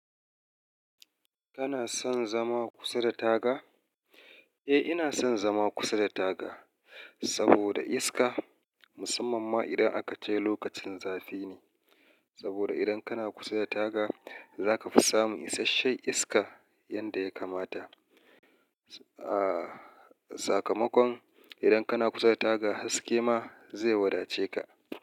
Kana son zama kusa da taga? Eh, ina son zama kusa da taga saboda iska, musamman ma idan akace lokacin zafi ne. Saboda idan kana kusa da taga, zaka fi samun isashen iska yadda ya kamata. A sakamakon idan kana kusa da taga haske ma zai wadace ka.